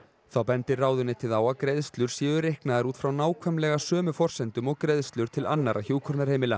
þá bendir ráðuneytið á að greiðslur séu reiknaðar út frá nákvæmlega sömu forsendum og greiðslur til annarra hjúkrunarheimila